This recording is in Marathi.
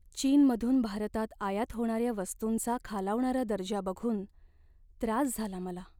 चीनमधून भारतात आयात होणाऱ्या वस्तूंचा खालावणारा दर्जा बघून त्रास झाला मला.